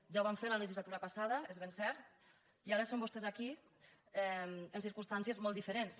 ja ho van fer la legislatura passada és ben cert i ara són vostès aquí en circumstàncies molt diferents